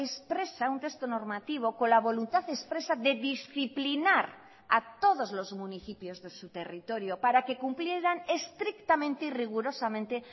expresa un texto normativo con la voluntad expresa de disciplinar a todos los municipios de su territorio para que cumplieran estrictamente y rigurosamente